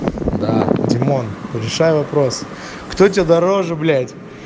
да димон решай вопрос кто тебе дороже блять